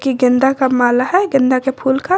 ये गेंदा का माला है गेंदा के फूल का।